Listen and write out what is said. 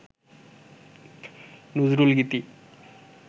Nazrul Geeti